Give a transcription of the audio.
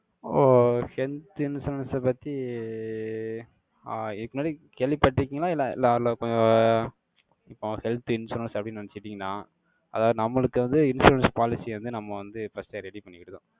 ஓ health insurance பத்தி ah இதுக்கு முன்னாடி, கேள்விப்பட்டிருக்கீங்களா? இல்ல, அதுல கொ~, இப்ப, health insurance அப்படின்னு நினைச்சுட்டீங்கன்னா, அதாவது, நம்மளுக்கு வந்து, insurance policy வந்து, நம்ம வந்து, first ஏ ready பண்ணிக்கிடுவோம்.